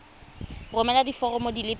romela diforomo di le pedi